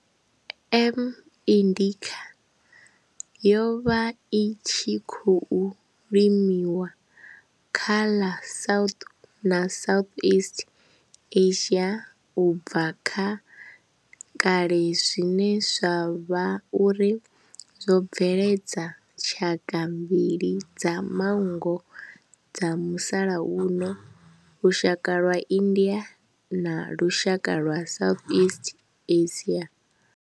M. indica yo vha i tshi khou limiwa kha ḽa South na Southeast Asia ubva kha kale zwine zwa vha uri zwo bveledza tshaka mbili dza manngo dza musalauno, lushaka lwa India na lushaka lwa Southeast Asia.